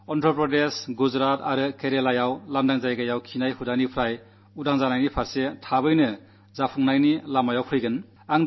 ആന്ധ്രപ്രദേശ് ഗുജറാത് കേരളം എന്നീ സംസ്ഥാനങ്ങൾ തുറസ്സായിടത്ത് ശൌചമെന്ന ശീലത്തിൽ നിന്നു മോചനത്തിന്റെ പാതയിൽ അധികം വൈകാതെ വിജയം നേടും